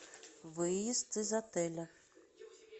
выезд из отеля